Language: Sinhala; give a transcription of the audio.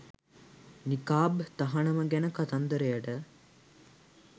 නිකාබ් තහනම ගැණ කතන්දරයට